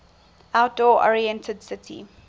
outdoor oriented city